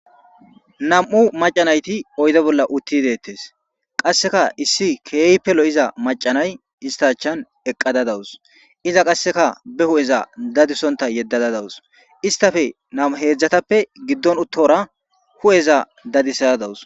nam7u macanayti oyde bolla utti deettes qasseka issi keeypelo iza macanay istachan eqqada dawus iza qasseka be hu7eza dadisonta yeddada dawus istafe namu heedzdzatappe giddon uttora hu7eza dadisada dawus